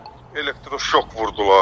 Bizə elektroşok vurdular.